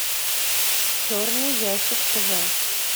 черный ящик тв